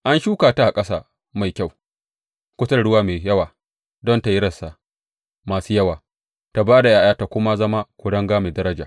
An shuka ta a ƙasa mai kyau kusa da ruwa mai yawa don tă yi rassa masu yawa, ta ba da ’ya’ya ta kuma zama kuringa mai daraja.’